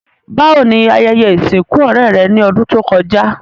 Bàwoni ayẹyẹ ìsìnkù ọ̀rẹ́ rẹ́ ni odùn to kojá?